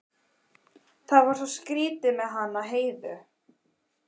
Það var svo skrýtið með hana Heiðu.